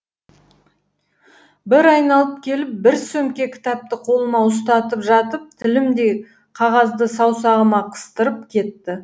бір айналып келіп бір сөмке кітапты қолыма ұстатып жатып тілімдей қағазды саусағыма қыстырып кетті